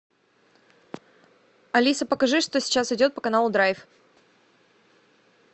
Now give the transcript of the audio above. алиса покажи что сейчас идет по каналу драйв